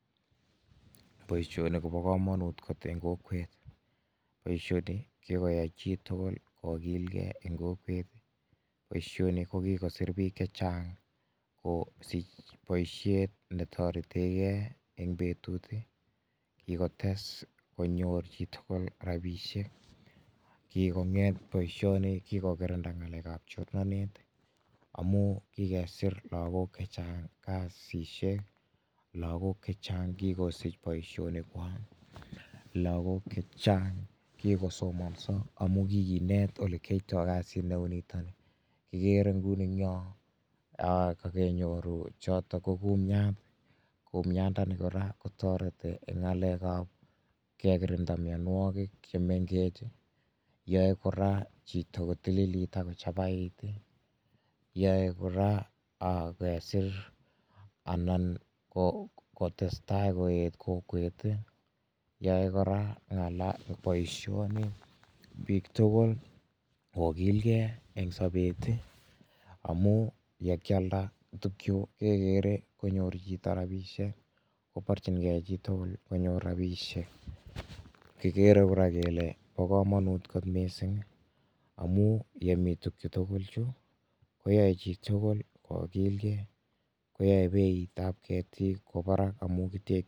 Boishoni kobokomonut kot en kokwet, boishoni kikoyai chitukul kokilkee en kokwet, boishoni ko kikosir biik chechang kosich boishet netorteke eng' betut, kikotes konyor chitukul rabishek, kikong'et boishoni kikokirinda ng'alekab chornonet amun kikesir lokok chechang en kasisiek, lakok chechang kikosich boishonikwak, lokok chechang kikosomonso amun kikinet olekiyoito kasit neuniton ikere en inguni eng'yo kokenyoru choto ko kumiat, kumiandani kora kotoreti eng' ng'alekab kekirinda mionwokik chemeng'ech, yoe kora chito kotililit ak kochabait, yoe kora kesir anan kotesta koet yoe kora boishoni biik tukul kokilke en sobet amun yekialda tukuk chuu kekere konyoru chito rabishek, koborching'e chitukul konyor rabishek, kikere kora kelee bokomonut kot mising amun yemii tukuchu tukul chuu koyoe chitukul kokilke koyoe beitab ketik koba barak amun kitech.